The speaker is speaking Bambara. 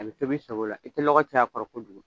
A bɛ tobi i sago la i tɛ lɔgɔ caya a kɔrɔ kojugu.